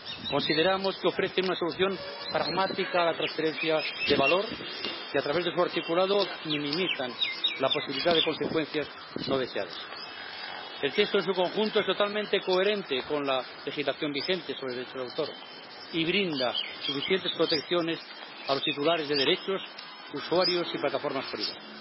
Consideramos que ofrecen una solución pragmática a la transferencia de valor y a través de su articulado minimizan la posibilidad de consecuencias no deseadas. El texto en su conjunto es totalmente coherente con la legislación vigente sobre derechos de autor y brinda suficientes protecciones a los titulares de derechos, usuarios y plataformas por igual.